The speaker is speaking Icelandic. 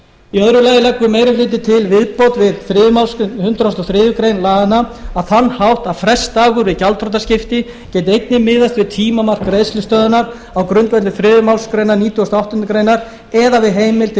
í öðru lagi leggur meiri hlutinn til viðbót við þriðju málsgrein hundrað og þriðju grein laganna á þann hátt að frestdagur við gjaldþrotaskipti geti einnig miðast við tímamark greiðslustöðvunar á grundvelli þriðju málsgrein nítugasta og áttundu greinar eða við heimild til